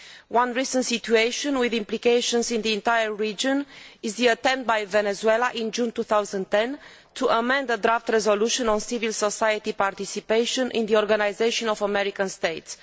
One recent situation with implications in the entire region is the attempt by Venezuela in June 2010 to amend a draft resolution on civil society participation in the Organisation of American States.